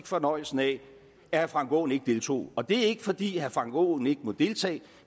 fornøjelsen af at herre frank aaen ikke deltog og det er ikke fordi herre frank aaen ikke må deltage